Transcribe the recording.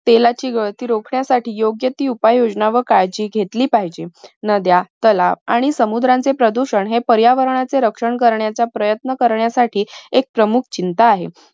तेलाची गळती रोखण्यासाठी योग्य ती उपाय योजना व काळजी घेतली पाहिजे. नद्या, तलाव आणि समुद्रांचे प्रदूषण हे प्रायवर्णाचे रक्षण करण्याचा प्रयत्न करण्यासाठी एक प्रमुख चिंता आहे.